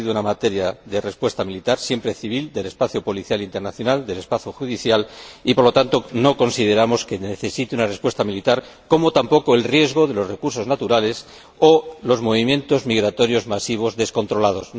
había sido una materia de respuesta militar, siempre civil, del espacio policial internacional, del espacio judicial y, por lo tanto, no consideramos que necesite una respuesta militar, como tampoco el riesgo asociado a los recursos naturales o los movimientos migratorios masivos descontrolados.